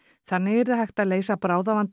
þannig yrði hægt að leysa bráðavanda